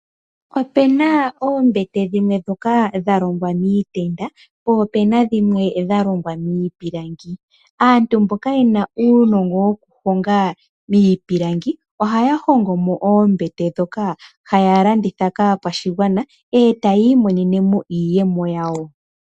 Opuna oombete dhimwe ndhoka dha longwa niipeta, omanga dhimwe dha longwa miipilangi. Aantu mboka yena uunongo wokuhonga miipilangi, ohaya hongo mo oombete ndhoka haya landitha kaakwashigwana, e taya mono iiyemo yawo.